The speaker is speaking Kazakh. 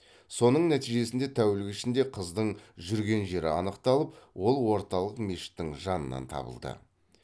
соның нәтижесінде тәулік ішінде қыздың жүрген жері анықталып ол орталық мешіттің жанынан табылды